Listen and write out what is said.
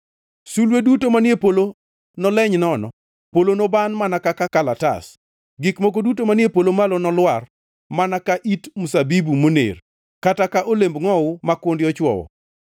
Sulwe duto manie polo noleny nono, polo noban mana ka kalatas, gik moko duto manie polo malo nolwar, mana ka it mzabibu moner, kata ka olemb ngʼowu ma kundi ochwowo.